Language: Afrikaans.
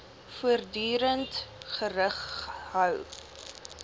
voortdurend gerig hou